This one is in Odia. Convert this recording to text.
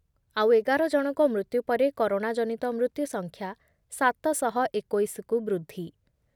ଆଉ ଏଗାର ଜଣଙ୍କ ମୃତ୍ୟୁ ପରେ କରୋନାଜନିତ ମୃତ୍ୟୁସଂଖ୍ୟା ସାତ ଶହ ଏକୋଇଶ କୁ ବୃଦ୍ଧି ।